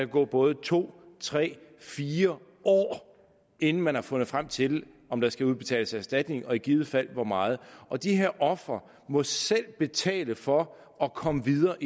gå både to tre og fire år inden man har fundet frem til om der skal udbetales erstatning og i givet fald hvor meget og de her ofre må selv betale for at komme videre